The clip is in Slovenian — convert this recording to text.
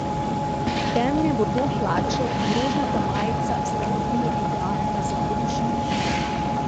Temne bordo hlače in rožnata majica sta na primer idealna za hruško.